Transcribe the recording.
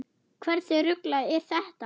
Hversu ruglað er þetta?